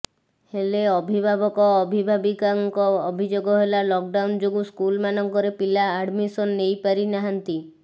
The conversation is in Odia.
ହେଲେ ଅଭିଭାବକ ଅବିଭାବିକାଙ୍କ ଅଭିଯୋଗ ହେଲା ଲକ୍ ଡାଉନ ଯୋଗୁଁ ସ୍କୁଲମାନଙ୍କରେ ପିଲା ଆଡମିସନ ନେଇ ପାରି ନାହାନ୍ତି